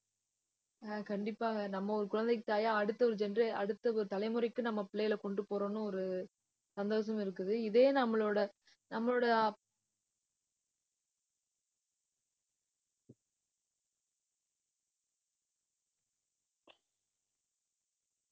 அஹ் கண்டிப்பாங்க. நம்ம ஒரு குழந்தைக்கு, தாயா, அடுத்த ஒரு genera அடுத்த ஒரு தலைமுறைக்கு நம்ம பிள்ளைகள கொண்டு போறோம்னு ஒரு சந்தோஷம் இருக்குது. இதே நம்மளோட நம்மளோட அஹ்